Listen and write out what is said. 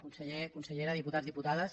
conseller consellera dipu·tats diputades